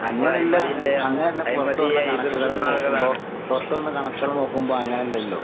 അങ്ങനല്ല അ അങ്ങനല്ല പൊറത്ത് വന്ന കണക്കുകൾ നോക്കുമ്പോ പൊറത്ത്‌ വന്ന കണക്കുകൾ നോക്കുമ്പോ അങ്ങനല്ലല്ലോ?